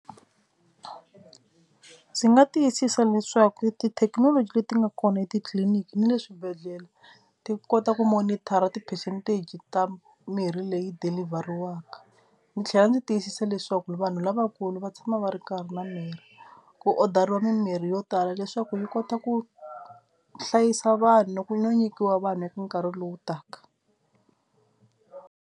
Ndzi nga tiyisisa leswaku tithekinoloji leti nga kona etitliliniki na le swibedhlele ti kota ku monitor-a ti-percentage ta mirhi leyi dilivheriwaka. Ni tlhela ni tiyisisa leswaku vanhu lavakulu va tshama va ri karhi na mirhi ku order-iwa mimirhi yo tala leswaku yi kota ku hlayisa vanhu ku no nyikiwa vanhu eka nkarhi lowu taka.